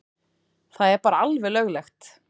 Það er bara alveg löglegt.